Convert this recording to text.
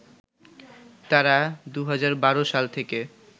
তারা ২০১২ সাল থেকে